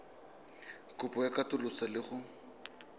kopo ya katoloso le go